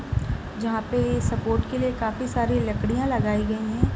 जहां पे स्पोर्ट के लिए काफी सारी लकड़ियां लगाई गई है।